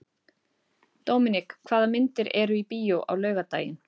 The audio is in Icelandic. Dominik, hvaða myndir eru í bíó á laugardaginn?